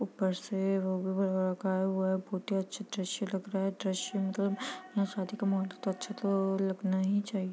ऊपर से बहुत ही अचे दृश्य लग रहा ह दृश्य मतलब यहाँ शादी का माहौल है तो अच्छा तो लगना ही चाहिए।